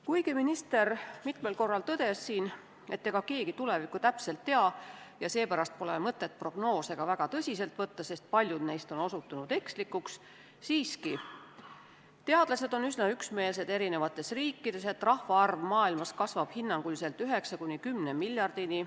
Kuigi minister mitmel korral tõdes siin, et ega keegi tulevikku täpselt tea ja seepärast pole mõtet prognoose ka väga tõsiselt võtta, sest paljud neist on osutunud ekslikuks, on teadlased eri riikides siiski üsna üksmeelsed, et rahvaarv maailmas kasvab hinnanguliselt 9–10 miljardini.